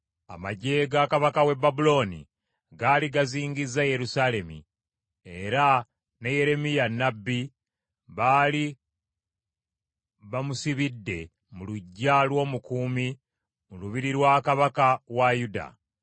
Amaggye ga kabaka w’e Babulooni gaali gazingizza Yerusaalemi, era ne Yeremiya nnabbi baali bamusibidde mu luggya lw’omukuumi mu lubiri lwa kabaka wa Yuda.